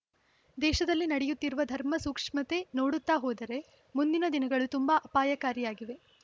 ದೇಶದಲ್ಲಿ ನಡೆಯುತ್ತಿರುವ ಧರ್ಮ ಸೂಕ್ಷ್ಮತೆ ನೋಡುತ್ತಾ ಹೋದರೆ ಮುಂದಿನ ದಿನಗಳು ತುಂಬಾ ಅಪಾಯಕಾರಿಯಾಗಿವೆ